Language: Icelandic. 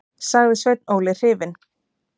sagði Sveinn Óli hrifinn.